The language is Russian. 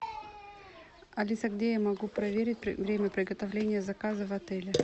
алиса где я могу проверить время приготовления заказа в отеле